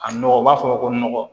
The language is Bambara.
A nɔgɔ u b'a fɔ ko nɔgɔ